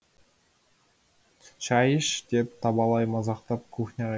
шай іш деп табалай мазақтап кухняға